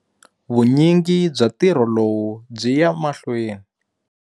Vunyingi bya ntirho lowu byi ya mahlweni.